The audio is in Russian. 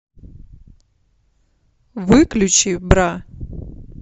выключи бра